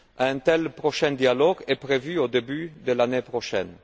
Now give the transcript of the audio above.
Un tel dialogue est prévu au début de l'année prochaine.